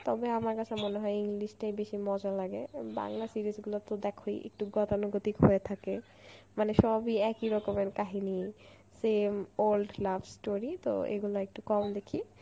তবে আমার কাছে মনে হয় English টাই বেশি মজা লাগে উম বাংলা series গুলাতো দেখোই একটু গতানুগতিক হয়ে থাকে মানে সবই একই রকমের কাহিনী, same old love story তো এগুলা একটু কম দেখি